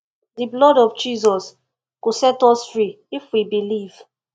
the blood of jesus go set us free if we believe